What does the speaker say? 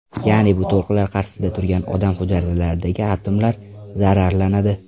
Ya’ni bu to‘lqinlar qarshisida turgan odam hujayralaridagi atomlar zararlanadi.